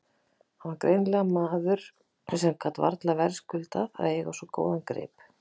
Hann var greinilega maður sem varla gat verðskuldað að eiga svo góðan grip.